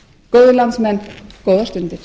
góðir landsmenn góðar stundir